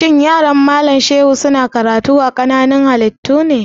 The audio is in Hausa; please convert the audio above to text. Shin yaran Malam Shehu su na karatu a sashen nazarin ƙananan halittu ne?